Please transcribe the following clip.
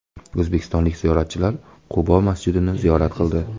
O‘zbekistonlik ziyoratchilar Qubo masjidini ziyorat qildi .